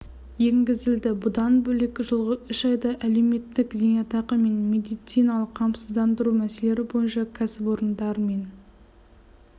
енгізілді бұдан бөлек жылғы үш айда әлеуметтік зейнетақы және медициналық қамсыздандыру мәселелері бойынша кәсіпорындар мен